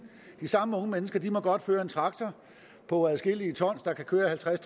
de samme unge mennesker må godt føre en traktor på adskillige ton der kan køre halvtreds